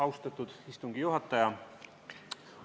Austatud istungi juhataja!